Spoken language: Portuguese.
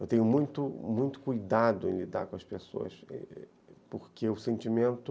Eu tenho muito muito cuidado em lidar com as pessoas, porque o sentimento...